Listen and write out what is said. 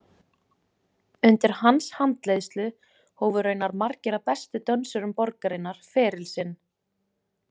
Undir hans handleiðslu hófu raunar margir af bestu dönsurum borgarinnar feril sinn.